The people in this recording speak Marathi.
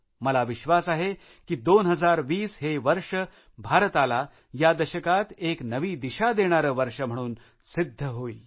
मला विश्वास आहे की २०२० हे वर्ष भारताला या दशकात एक नवी दिशा देणारे वर्ष म्हणून सिध्द होईल